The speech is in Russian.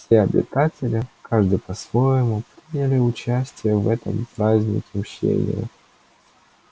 все обитатели каждый по-своему приняли участие в этом празднике мщения